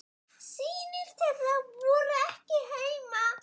Synir þeirra voru ekki heima.